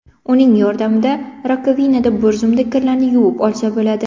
Uning yordamida rakovinada bir zumda kirlarni yuvib olsa bo‘ladi.